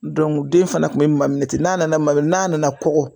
den fana kun bɛ maminɛ ten n'a nana maminɛ n'a nana kɔkɔ.